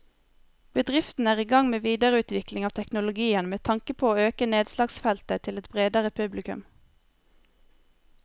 Bedriften er i gang med videreutvikling av teknologien med tanke på å øke nedslagsfeltet til et bredere publikum.